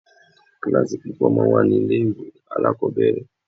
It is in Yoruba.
Kíláàsì púpọ̀ máa ń wà ní ilé ìwé alákọ̀ọ́bẹ̀rẹ̀.